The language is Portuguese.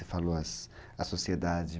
Você falou a sociedade?